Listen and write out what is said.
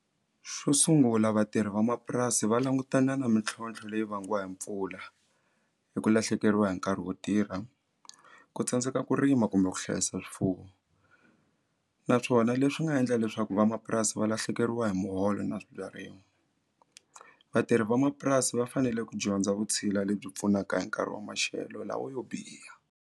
Xo sungula vatirhi vamapurasi va langutana na mintlhontlho leyi vangiwa hi mpfula hi ku lahlekeriwa hi nkarhi wo tirha ku tsandzeka ku rima kumbe ku hlayisa swifuwo naswona leswi nga endla leswaku vamapurasi va lahlekeriwa hi muholo na swibyariwa vatirhi vamapurasi va fanele ku dyondza vutshila lebyi pfunaka hi nkarhi wa maxelo lawo yo biha.